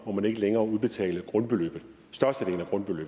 må man ikke længere udbetale størstedelen af grundbeløbet